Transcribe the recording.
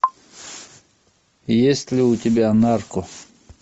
есть ли у тебя нарко